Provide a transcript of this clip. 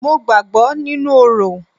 Mo gbàgbọ́ nínú orò.